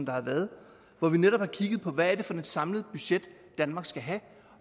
har været hvor vi netop har kigget på hvad det er for et samlet budget danmark skal have